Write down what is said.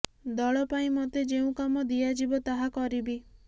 ଦଳ ପାଇଁ ମତେ ଯେଉଁ କାମ ଦିଆଯିବ ତାହା କରିବି